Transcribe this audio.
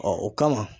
o kama